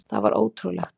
Það var ótrúlegt.